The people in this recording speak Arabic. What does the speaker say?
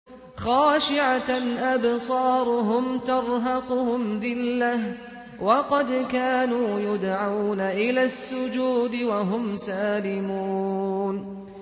خَاشِعَةً أَبْصَارُهُمْ تَرْهَقُهُمْ ذِلَّةٌ ۖ وَقَدْ كَانُوا يُدْعَوْنَ إِلَى السُّجُودِ وَهُمْ سَالِمُونَ